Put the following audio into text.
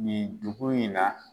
Nin dugu in na